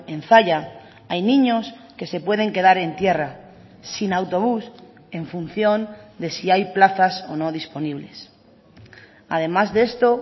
en zalla hay niños que se pueden quedar en tierra sin autobús en función de si hay plazas o no disponibles además de esto